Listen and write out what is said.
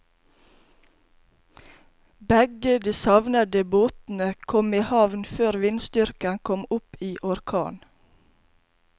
Begge de savnede båtene kom i havn før vindstyrken kom opp i orkan.